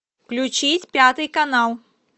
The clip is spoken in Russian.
включить пятый канал